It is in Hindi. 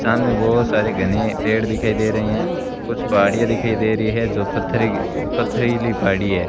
सामने बहोत सारे घने पेड़ दिखाई दे रहे हैं कुछ पहाड़ियां दिखाई दे रही है जो पत्थरे की पथरीली पहाड़ी है।